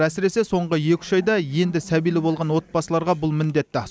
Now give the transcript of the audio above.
әсіресе соңғы екі үш айда енді сәбилі болған отбасыларға бұл міндетті